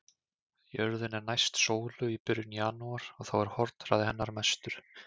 Jörðin er næst sólu í byrjun janúar og þá er hornhraði hennar mestur.